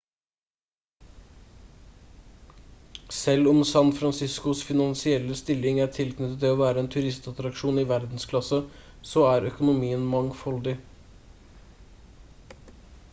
selv om san franciscos finansielle stilling er tilknyttet det å være en turistattraksjon i verdensklasse så er økonomien mangfoldig